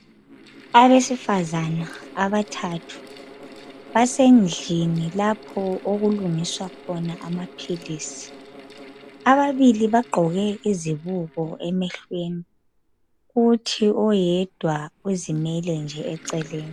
Abesifazana abathathu basendlini lapho okulungiswa khona amaphilisi .Ababili bagqoke izibuko emehlweni .Kuthi oyedwa uzimele nje eceleni.